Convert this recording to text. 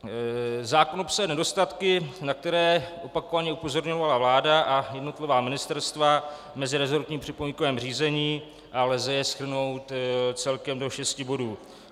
Zákon obsahuje nedostatky, na které opakovaně upozorňovala vláda a jednotlivá ministerstva v meziresortním připomínkovém řízení a jež lze shrnout celkem do šesti bodů.